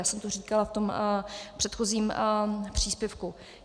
Já jsem to říkala v tom předchozím příspěvku.